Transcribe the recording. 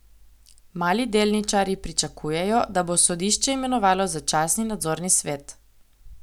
Mali delničarji pričakujejo, da bo sodišče imenovalo začasni nadzorni svet.